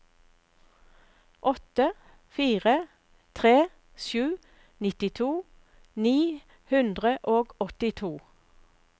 åtte fire tre sju nittito ni hundre og åttito